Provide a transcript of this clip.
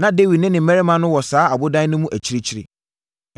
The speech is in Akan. Na Dawid ne ne mmarima no wɔ saa ɔbodan no mu akyirikyiri.